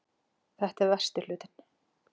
Þetta er versti hlutinn